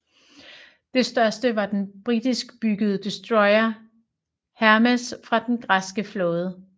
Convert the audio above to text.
Det største var den britiskbyggede destroyer Hermes fra den græske flåde